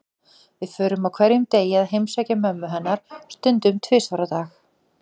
Við förum á hverjum degi að heimsækja mömmu hennar, stundum tvisvar á dag.